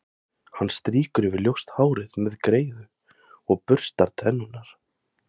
Hann strýkur yfir ljóst hárið með greiðu og burstar tennurnar.